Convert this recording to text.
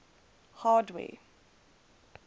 hardware